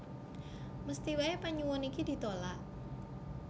Mesthi waé panyuwun iki ditulak